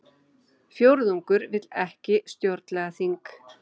Fjórðungur vill ekki stjórnlagaþing